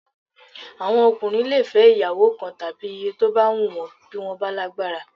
Àwọn ọkùnrin lè fẹ́ ìyàwó kan tàbí iye tó bá wùn wọ́n bí wọ́n bá lágbára